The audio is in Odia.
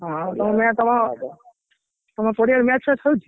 ହଁ ତମେ ତମ ତମ ପଡିଆରେ match ଫ୍ୟାଚ ହଉଛି?